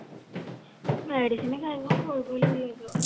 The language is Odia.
medicine ଖାଇନି ମ ଶୋଇପଡିଲି